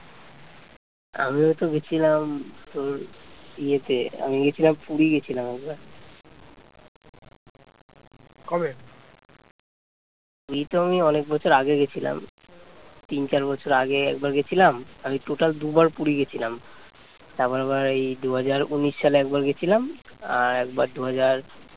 অনেক বছর আগে গেছিলাম তিন চার বছর আগে একবার গিয়েছিলাম আমি total দুবার পুরী গেছিলাম, তারপর আবার ওই দুহাজার উনিশ সালে একবার গিয়েছিলাম আর একবার দুহাজার